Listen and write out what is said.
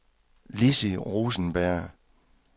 Lissi Rosenberg